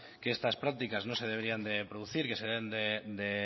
que estas prácticas no se deberían de producir que se deben de